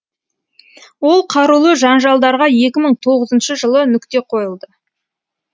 ол қарулы жанжалдарға екі мың тоғызыншы жылы нүкте қойылды